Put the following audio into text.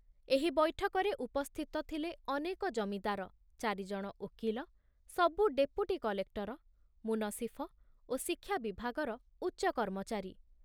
ଏହି ବୈଠକରେ ଉପସ୍ଥିତ ଥିଲେ ଅନେକ ଜମିଦାର, ଚାରିଜଣ ଓକିଲ, ସବୁ ଡେପୁଟି କଲେକ୍ଟର, ମୁନସିଫ ଓ ଶିକ୍ଷା ବିଭାଗର ଉଚ୍ଚ କର୍ମଚାରୀ।